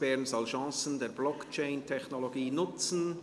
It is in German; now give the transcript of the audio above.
«Bern soll Chancen der Blockchain-Technologie nutzen».